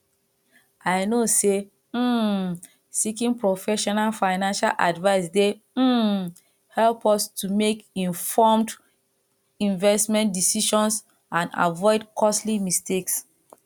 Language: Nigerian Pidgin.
i know say um seeking professional financial advice dey um help us to make informed investment decisions and avoid costly mistakes